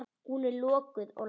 Hún er lokuð og læst.